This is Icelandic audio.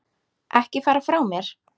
Ekki fara frá mér!